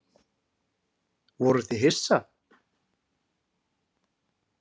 Voruð þið hissa?